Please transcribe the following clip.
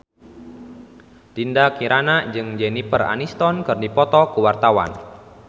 Dinda Kirana jeung Jennifer Aniston keur dipoto ku wartawan